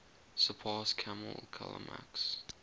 surpass kammel kalamak's